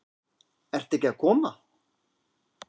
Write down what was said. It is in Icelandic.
Ert ekki að koma?